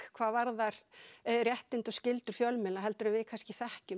hvað varðar réttindi og skyldur fjölmiðla en við þekkjum